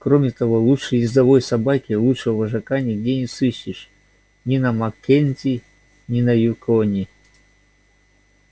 кроме того лучшей ездовой собаки лучшего вожака нигде не сыщешь ни на маккензи ни на юконе